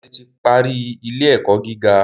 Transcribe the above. Dare ti parí ilé-ẹkọ gíga